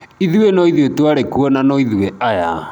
Ithuĩ noithuĩ twarĩ kuo na no ithuĩ aya.